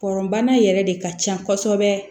Kɔrɔnbana yɛrɛ de ka ca kosɛbɛ